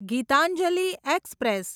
Gitanjali express